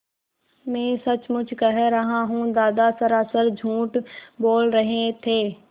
मैं सचमुच कह रहा हूँ दादा सरासर झूठ बोल रहे थे